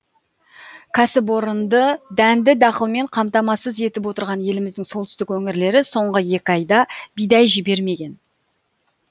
кәсіпорынды дәнді дақылмен қамтамасыз етіп отырған еліміздің солтүстік өңірлері соңғы екі айда бидай жібермеген